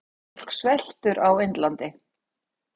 Fólk sveltur á Indlandi.